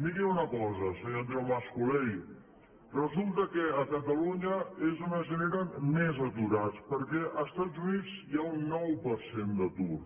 miri una cosa senyor andreu mas colell resulta que a catalunya és on es generen més aturats perquè als estats units hi ha un nou per cent d’atur